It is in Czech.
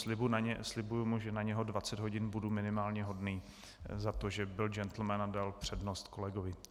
Slibuji mu, že na něho 20 hodin budu minimálně hodný za to, že byl džentlmen a dal přednost kolegovi.